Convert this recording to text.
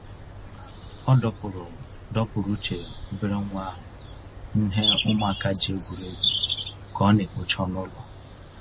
Ọ dọpụrụ dọpụrụ uche obere nwa ahụ n'he ụmụaka ji egwuri egwu ka ọ na-ekpocha ọnụ ụlọ.